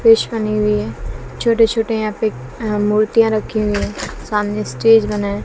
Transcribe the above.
Fish बनी हुई है छोटे छोटे यहां पे अह मूर्तियां रखी हुई हैं सामने स्टेज बना है।